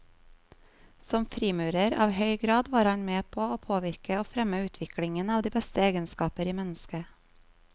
Som frimurer av høy grad var han med på å påvirke og fremme utviklingen av de beste egenskaper i mennesket.